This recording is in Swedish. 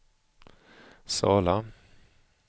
Sala